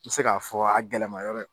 N mi se k'a fɔ a gɛlɛmayɔrɔ ye